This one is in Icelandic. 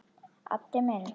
Addi minn.